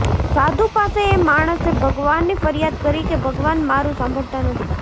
સાધુ પાસે એ માણસે ભગવાનની ફરિયાદ કરી કે ભગવાન મારું સાંભળતા નથી